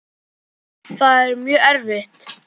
Það er mjög erfitt.